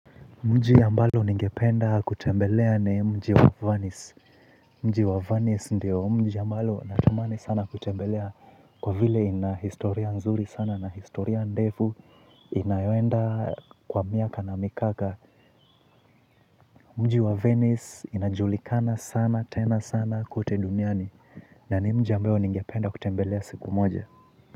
Mji ambalo ningependa kutembelea ni mji wa Venice. Mji wa Venice ndio mji ambalo natamani sana kutembelea. Kwa vile ina historia nzuri sana na historia ndefu inayoenda kwa miaka na mikaka. Mji wa Venice inajulikana sana tena sana kote duniani. Na ni mji ambayo ningependa kutembelea siku moja.